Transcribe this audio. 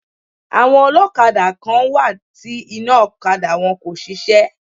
Àwọn ọlọ́kadà kán wá ti iná ọ̀kadà wọn kò ṣiṣẹ́.